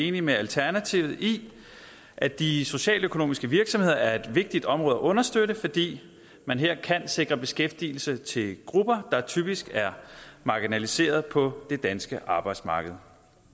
enige med alternativet i at de socialøkonomiske virksomheder er et vigtigt område at understøtte fordi man her kan sikre beskæftigelse til grupper der typisk er marginaliserede på det danske arbejdsmarked